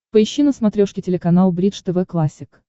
поищи на смотрешке телеканал бридж тв классик